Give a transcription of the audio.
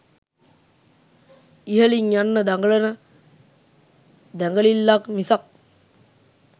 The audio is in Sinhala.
ඉහළින් යන්න දඟලන දැඟලිල්ලක් මිසක්